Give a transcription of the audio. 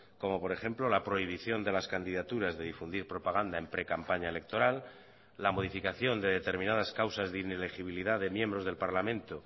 como por ejemplo la prohibición de las candidaturas de difundir propaganda en precampaña electoral la modificación de determinadas causas de inelegibilidad de miembros del parlamento